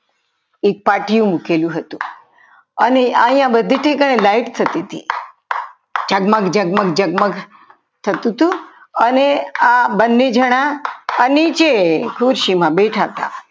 એક પાટિયું મૂકેલું હતું અને અહીંયા બધી light થતી હતી ઝગમગ જગમગ જગમગ થતું હતું અને આ બંને જણા નીચે ખુરશીમાં બેઠા હતા.